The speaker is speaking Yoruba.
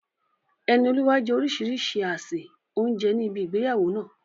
Enioluwa jẹ orísìírísìí àsè oúnjẹ ní ibi ìgbéyàwó náà.